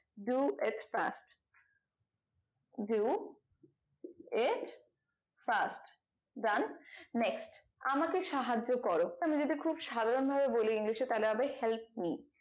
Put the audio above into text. do it fast do it fast done next আমাকে সাহায্য করো আমি যদি খুব সাধারণ ভাবে বলি english এ তাহলে হবে help me